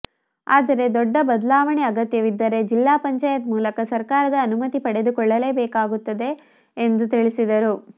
ಆದರೆ ದೊಡ್ಡ ಬದಲಾವಣೆ ಅಗತ್ಯವಿದ್ದರೆ ಜಿಲ್ಲಾ ಪಂಚಾಯತ್ ಮೂಲಕ ಸರ್ಕಾರದ ಅನುಮತಿ ಪಡೆದುಕೊಳ್ಳಬೇಕಾಗುತ್ತದೆ ಎಂದು ತಿಳಿಸಿದರು